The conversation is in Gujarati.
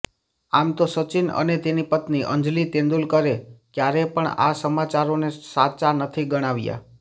આમ તો સચિન અને તેની પત્ની અંજલિ તેંદુલકરે ક્યારે પણ આ સમાચારોને સાચા નથી ગણાવ્યા